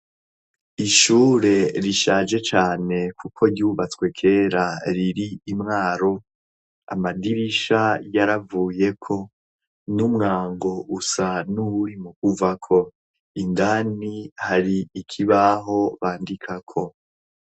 Ishure rishaje cane kuko ryubatswe kera riri i Mwaro amadirisha yaravuyeko n'umwango usa n'uwuri mu kuvako indani hari ikibaho bandikako.